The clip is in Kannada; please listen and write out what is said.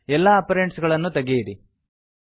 ಎಲ್ಲಾ ಅಪರೆಂಡ್ಸ್ ಗಳನ್ನುತೆಗೆಯಿರಿ